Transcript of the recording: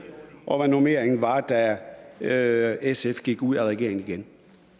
og hvad normeringen var da sf gik ud af regeringen igen